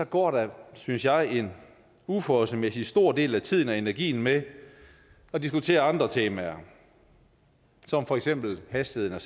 går der synes jeg en uforholdsmæssig stor del af tiden og energien med at diskutere andre temaer som for eksempel hastigheden af